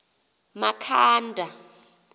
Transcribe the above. makhanda